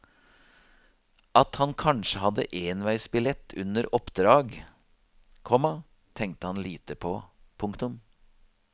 At han kanskje hadde enveisbillett under oppdrag, komma tenkte han lite på. punktum